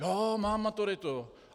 Jo, mám maturitu.